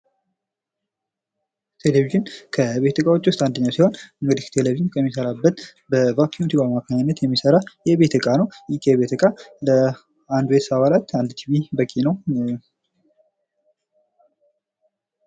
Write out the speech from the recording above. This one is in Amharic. ቴሌቪዥን ከቤት እቃዎች ውስጥ አንደኛው ሲሆን ቴሌቪዥን ከሚሰራበት በ ቫኪውም ትዩብ አማካኝነት የቤት እቃ ነው ። ይህ የቤት እቃ የአንድ ቤተሰብ አባላት አንድ ቲቪ በቂ ነው።